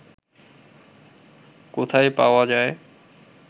কোথায় পাওয়া যায়